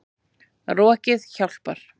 Rokið hjálpar.